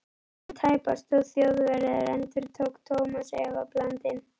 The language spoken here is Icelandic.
En tæpast þó Þjóðverjar? endurtók Thomas efablandinn.